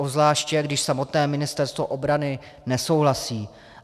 Obzvláště když samotné Ministerstvo obrany nesouhlasí.